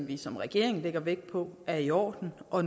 vi som regering lægger vægt på er i orden og